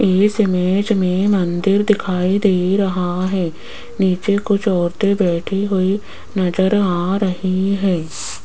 इस इमेज में मंदिर दिखाई दे रहा है नीचे कुछ औरतें बैठी हुई नजर आ रही है।